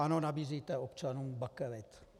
Ano, nabízíte občanům bakelit.